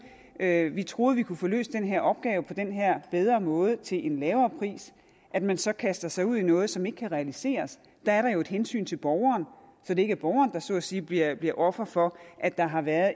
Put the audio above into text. at joh vi troede vi kunne få løst den her opgave på den her bedre måde til en lavere pris at man så kaster sig ud i noget som ikke kan realiseres der er der jo et hensyn til borgeren så det ikke er borgeren der så at sige bliver bliver offer for at der har været